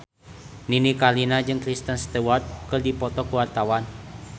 Nini Carlina jeung Kristen Stewart keur dipoto ku wartawan